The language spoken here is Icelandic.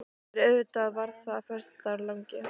En auðvitað var það líka föstudagurinn langi.